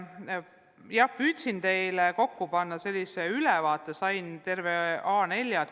Ma püüdsin teile kokku panna sellise ülevaate, sain terve A4.